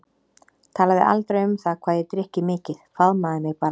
Talaði aldrei um það hvað ég drykki mikið, faðmaði mig bara.